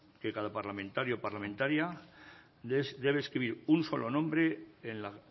que cada parlamentario o parlamentaria debe escribir un solo nombre en la